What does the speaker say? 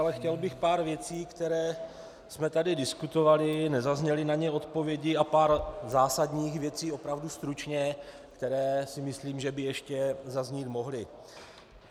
Ale chtěl bych pár věcí, které jsme tady diskutovali, nezazněly na ně odpovědi, a pár zásadních věcí opravdu stručně, které si myslím, že by ještě zaznít mohly.